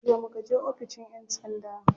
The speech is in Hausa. Jiya muka je oficin yan sanda.